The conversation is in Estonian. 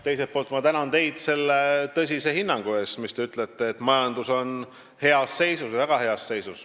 Teiselt poolt tänan ma teid selle tõsise hinnangu eest, kui te ütlesite, et majandus on heas seisus, väga heas seisus.